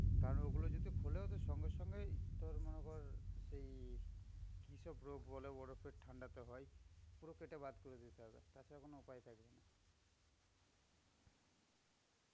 কারণ ওগুলো যদি খোলে, ওদের সঙ্গে সঙ্গে তোর মনে কর, এই কি সব বলে বরফের ঠান্ডাতে হয়, পুরো কেটে বাদ করে দিতে হবে. তাছাড়া কোন উপায় থাকবেনা.